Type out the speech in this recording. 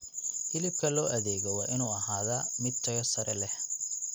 Hilibka loo adeego waa inuu ahaadaa mid tayo sare leh.